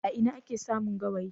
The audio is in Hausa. A ina ake samun gawayi?